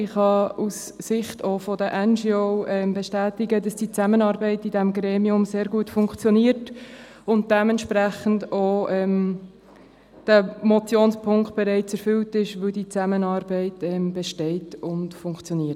Ich kann aus Sicht der NGO bestätigen, dass die Zusammenarbeit in diesem Gremium sehr gut funktioniert und dieser Motionspunkt entsprechend auch schon erfüllt ist.